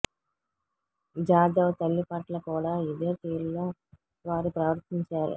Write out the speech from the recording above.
జాదవ్ తల్లి పట్ల కూడా ఇదే తీరులో వారు ప్రవర్తించారు